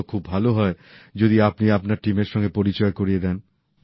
তো খুব ভালো হয় যদি আপনি আপনার টিমের সঙ্গে পরিচয় করিয়ে দেন